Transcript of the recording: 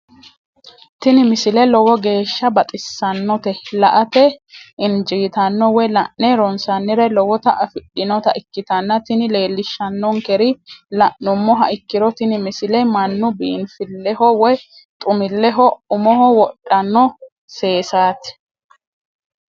tini misile lowo geeshsha baxissannote la"ate injiitanno woy la'ne ronsannire lowote afidhinota ikkitanna tini leellishshannonkeri la'nummoha ikkiro tini misile mannu biinfilleho woy xumilleho umoho wodhanno seesaati.